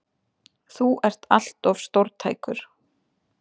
Þú ert allt of stórtækur!